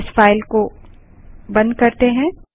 इस फाइल को बंद करें